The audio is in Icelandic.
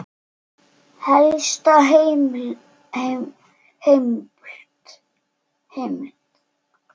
Helsta heimild